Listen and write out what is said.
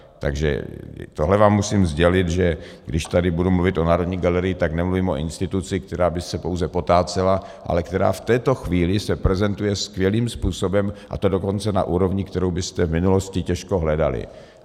Takže tohle vám musím sdělit, že když tady budu mluvit o Národní galerii, tak nemluvím o instituci, která by se pouze potácela, ale která v této chvíli se prezentuje skvělým způsobem, a to dokonce na úrovni, kterou byste v minulosti těžko hledali.